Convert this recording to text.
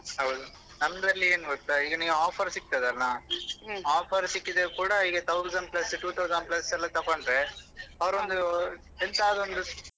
ಹೌದು ನಮ್ದ್ರಲ್ಲಿ ಏನ್ ಗೊತ್ತಾ ಈಗ ನೀವು offer ಸಿಕ್ತದಲ್ಲ offer ಸಿಕ್ಕಿದ್ರೆ ಕೂಡ ಈಗ thousand plus two thousand plus ಎಲ್ಲ ತಕೊಂಡ್ರೆ ಅವರೊಂದು ಎಂತಾದ್ರೊನ್ದು.